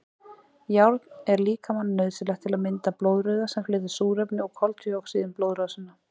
Járn er líkamanum nauðsynlegt til að mynda blóðrauða sem flytur súrefni og koltvíoxíð um blóðrásina.